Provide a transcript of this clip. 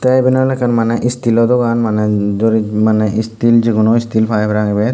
teh eben oleh ekkan maneh still oh dogan maneh dorij maneh still jekono still pai parapang ebet.